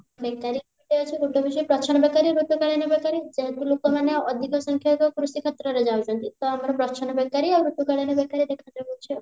ବେକାରୀ ଦୁଇଟା ଅଛି ଗୋଟେ ହଉଛି ପ୍ରଚ୍ଛନ୍ନ ବେକାରୀ ଋତୁକାଳୀନ ବେକାରୀ ଯେହେତୁ ଲୋକମାନେ ଅଧିକ ସଂଖ୍ୟାରେ କୃଷିକ୍ଷେତ୍ରରେ ଯାଉଛନ୍ତି ତ ଆମର ପ୍ରଚ୍ଛନ୍ନ ବେକାରୀ ଆଉ ଋତୁକାଳୀନ ବେକାରୀ ଦିଟା ରହୁଛି ଆଉ